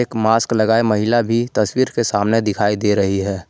एक मास्क लगाए महिला भी तस्वीर के सामने दिखाई दे रही है।